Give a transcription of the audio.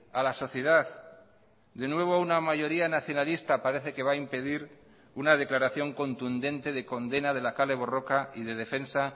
a la sociedad de nuevo una mayoría nacionalista parece que va a impedir una declaración contundente de condena de la kale borroka y de defensa